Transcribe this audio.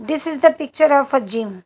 This is the picture of a gym.